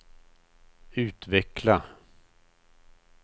utveckla